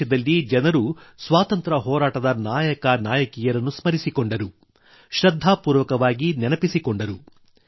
ದೇಶದಲ್ಲಿ ಜನರು ತಮ್ಮ ಸ್ವಾತಂತ್ರ ಹೋರಾಟದ ನಾಯಕನಾಯಕಿಯರನ್ನು ಸ್ಮರಿಸಿಕೊಂಡರು ಶ್ರದ್ಧಾಪೂರ್ವಕವಾಗಿ ನೆನಪಿಸಿಕೊಂಡರು